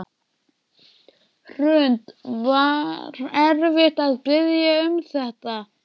Hrund: Var erfitt að biðja um þetta?